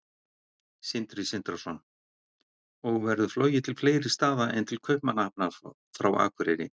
Sindri Sindrason: Og verður flogið til fleiri staða en til Kaupmannahafnar frá Akureyri?